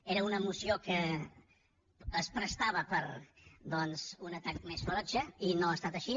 era una moció que es prestava per doncs un atac més ferotge i no ha estat així